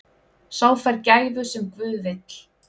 Sá fær gæfu sem guð vill.